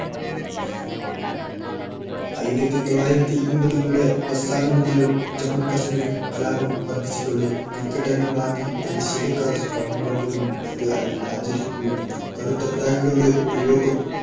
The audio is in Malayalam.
ആയിരത്തി തൊള്ളായിരത്തി എൻപതുകളുടെ അവസാനം മുതൽ ജമ്മു കശ്മീരിൽ കലാപം വർദ്ധിച്ചതോടെ, വിഘടനവാദി പ്രതിഷേധക്കാർ സ്വാതന്ത്ര്യദിനം ബന്ദ് ആയി ആചരിക്കുകയും കറുത്ത പതാകകളുടെ ഉപയോഗം